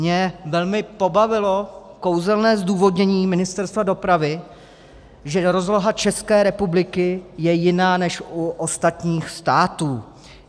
Mě velmi pobavilo kouzelné zdůvodnění Ministerstva dopravy, že rozloha České republiky je jiná než u ostatních států.